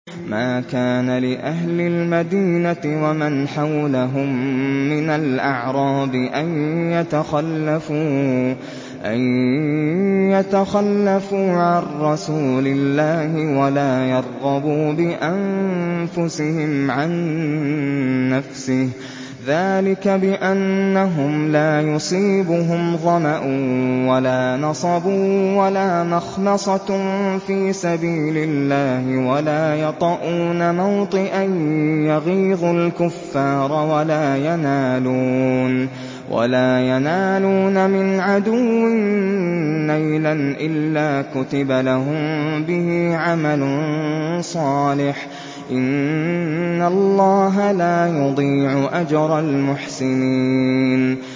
مَا كَانَ لِأَهْلِ الْمَدِينَةِ وَمَنْ حَوْلَهُم مِّنَ الْأَعْرَابِ أَن يَتَخَلَّفُوا عَن رَّسُولِ اللَّهِ وَلَا يَرْغَبُوا بِأَنفُسِهِمْ عَن نَّفْسِهِ ۚ ذَٰلِكَ بِأَنَّهُمْ لَا يُصِيبُهُمْ ظَمَأٌ وَلَا نَصَبٌ وَلَا مَخْمَصَةٌ فِي سَبِيلِ اللَّهِ وَلَا يَطَئُونَ مَوْطِئًا يَغِيظُ الْكُفَّارَ وَلَا يَنَالُونَ مِنْ عَدُوٍّ نَّيْلًا إِلَّا كُتِبَ لَهُم بِهِ عَمَلٌ صَالِحٌ ۚ إِنَّ اللَّهَ لَا يُضِيعُ أَجْرَ الْمُحْسِنِينَ